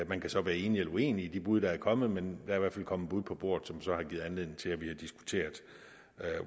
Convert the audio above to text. man kan så være enig eller uenig i de bud der er kommet men er i hvert fald kommet bud på bordet som så har givet anledning til at vi har diskuteret